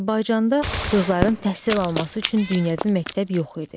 Azərbaycanda qızların təhsil alması üçün dünyəvi məktəb yox idi.